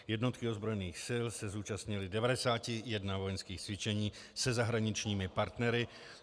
Jednotky ozbrojených sil se zúčastnily 91 vojenského cvičení se zahraničními partnery.